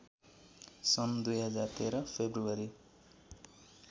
सन् २०१३ फेब्रुअरी